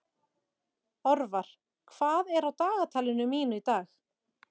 Orvar, hvað er á dagatalinu mínu í dag?